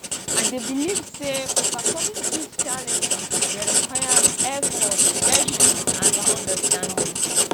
i dey believe say overcoming these challenges dey require effort patience and understanding